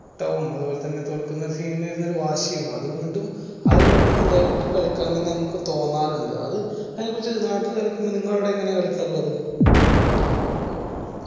അതുപോലെതന്നെ തോൽക്കുന്ന team ന് വരുന്ന ഒരു വാശിയും അത് വീണ്ടും ഏർ ആ level ക്ക് കളിക്കാൻ തന്നെ നമുക്ക് തോന്നാറിണ്ട് അതിനെ കുറിച്ച നാട്ടിൽ കളിക്കുമ്പോ നിങ്ങള അവിടെ എങ്ങനെയാ കളിക്കാറുള്ളത്